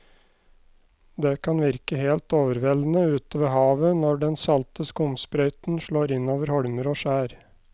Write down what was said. Det kan virke helt overveldende ute ved havet når den salte skumsprøyten slår innover holmer og skjær.